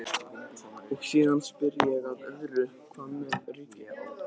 Og síðan spyr ég að öðru, hvað með ríkið?